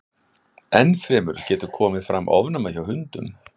Enn fremur getur komið fram ofnæmi hjá hundum.